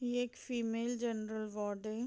ये एक female general ward है।